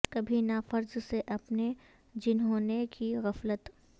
کبھی نہ فرض سے اپنے جنھوں نے کی غفلت